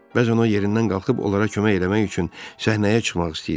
Bəzən o yerindən qalxıb onlara kömək eləmək üçün səhnəyə çıxmaq istəyirdi.